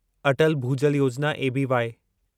Atal Bhujal Yojana ABY